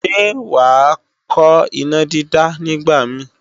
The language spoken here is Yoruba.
Ṣé wàá kọ́ ìnádídá nígbàmíì?